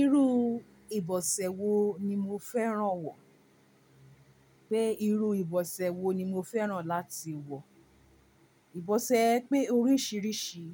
Irú ìbọ̀sẹ̀ wo ni mo fẹ́ràn wọ̀? Pé irú ìbọ̀sẹ̀ wo ni mo fẹ́ràn láti wọ̀? Ìbọ̀sẹ̀ pé oríṣiríṣi,